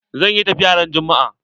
Zan yi tafiya ran juma'a.